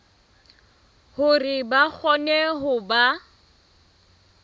hore ba kgone ho ba